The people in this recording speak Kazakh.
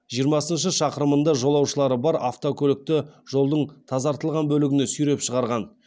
жиырмасыншы шақырымында жолаушылары бар автокөлікті жолдың тазартылған бөлігіне сүйреп шығарған